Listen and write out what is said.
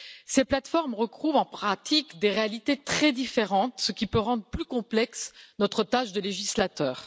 Ces plateformes recouvrent en pratique des réalités très différentes, ce qui peut rendre plus complexe notre tâche de législateurs.